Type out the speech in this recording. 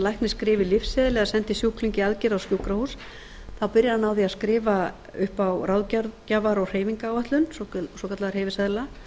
læknir skrifi lyfseðil eða sendi sjúkling í aðgerð á sjúkrahús þá byrjar hann á því að skrifa upp á ráðgjafar og hreyfingaráætlun svokallaða hreyfiseðla